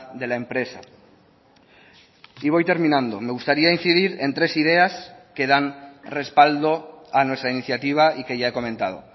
de la empresa y voy terminando me gustaría incidir en tres ideas que dan respaldo a nuestra iniciativa y que ya he comentado